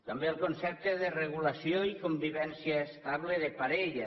també el concepte de regulació i convivència estable de parella